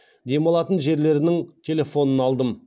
демалатын жерлерінің телефонын алдым